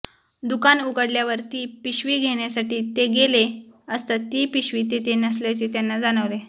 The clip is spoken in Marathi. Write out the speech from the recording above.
दुकान उघडल्यावर ती पिशवी घेण्यासाठी ते गेले असता ती पिशवी तेथे नसल्याचे त्यांना जाणवले